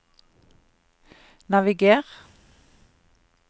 naviger